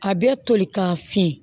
A bɛ toli ka fin